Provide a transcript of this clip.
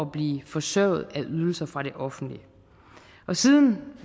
at blive forsørget af ydelser fra det offentlige og siden